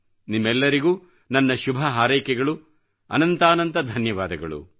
ನಿಮ್ಮೆಲ್ಲರಿಗೂ ನನ್ನ ಶುಭ ಹಾರೈಕೆಗಳು ಅನಂತಾನಂತ ಧನ್ಯವಾದಗಳು